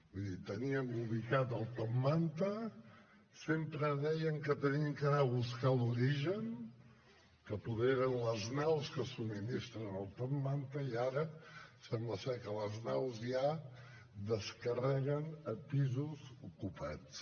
vull dir teníem ubicat el top manta sempre deien que havíem d’anar a buscar l’origen que poder eren les naus que subministren el top manta i ara sembla que les naus ja descarreguen a pisos ocupats